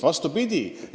Vastupidi!